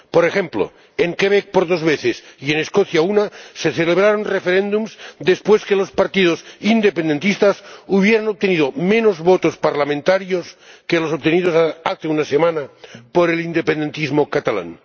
Por ejemplo, en Quebec, por dos veces, y en Escocia, en una ocasión, se celebraron referéndums después de que los partidos independentistas hubieran obtenido menos votos parlamentarios que los obtenidos hace una semana por el independentismo catalán.